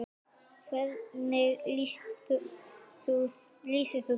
Hvernig lýsir þú þér?